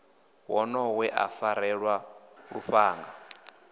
wonoyo we a farelwa lufhanga